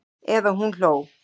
Eða hún hló.